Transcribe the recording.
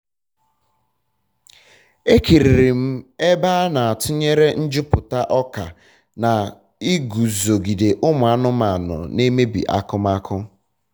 ekiriri m ebe a na-atunyere njuputa ọka na iguzogide ụmụ anụmanụ na emebi akụmakụ